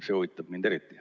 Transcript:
See huvitab mind eriti.